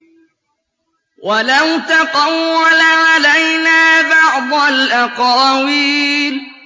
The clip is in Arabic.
وَلَوْ تَقَوَّلَ عَلَيْنَا بَعْضَ الْأَقَاوِيلِ